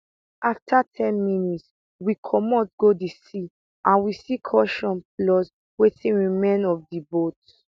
afta ten minutes we comot go di sea and we see cushions plus wetin remain of di boat